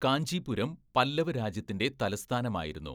കാഞ്ചീപുരം, പല്ലവ രാജ്യത്തിൻ്റെ തലസ്ഥാനമായിരുന്നു.